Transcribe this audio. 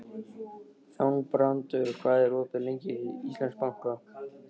Þangbrandur, hvað er opið lengi í Íslandsbanka?